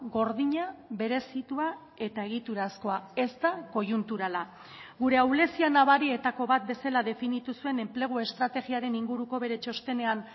gordina berezitua eta egiturazkoa ez da koiunturala gure ahulezia nabarietako bat bezala definitu zuen enplegu estrategiaren inguruko bere txostenean